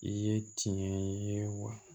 I ye tiɲɛ ye wa